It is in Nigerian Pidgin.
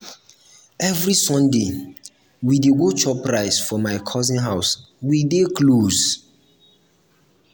every sunday we dey go chop rice for my cousin house we dey close.